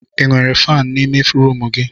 Ị nwere faani n'ime rumụ gị?